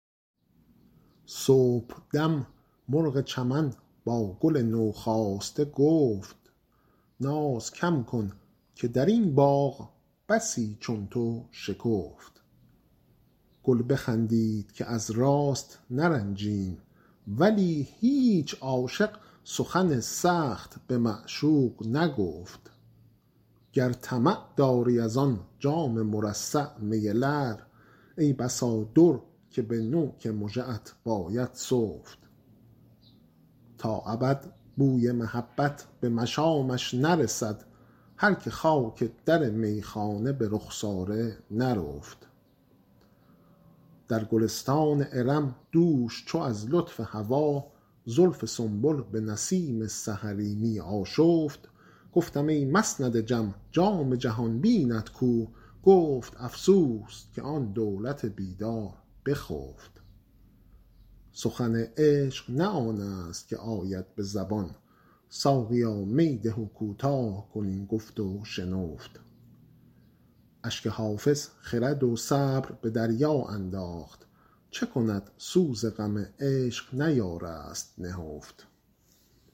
صبحدم مرغ چمن با گل نوخاسته گفت ناز کم کن که در این باغ بسی چون تو شکفت گل بخندید که از راست نرنجیم ولی هیچ عاشق سخن سخت به معشوق نگفت گر طمع داری از آن جام مرصع می لعل ای بسا در که به نوک مژه ات باید سفت تا ابد بوی محبت به مشامش نرسد هر که خاک در میخانه به رخسار نرفت در گلستان ارم دوش چو از لطف هوا زلف سنبل به نسیم سحری می آشفت گفتم ای مسند جم جام جهان بینت کو گفت افسوس که آن دولت بیدار بخفت سخن عشق نه آن است که آید به زبان ساقیا می ده و کوتاه کن این گفت و شنفت اشک حافظ خرد و صبر به دریا انداخت چه کند سوز غم عشق نیارست نهفت